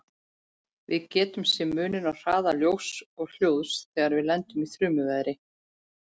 Við getum sé muninn á hraða ljóss og hljóðs þegar við lendum í þrumuveðri.